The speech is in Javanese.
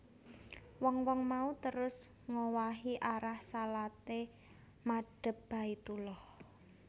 Wong wong mau terus ngowahi arah shalaté madhep Baitullah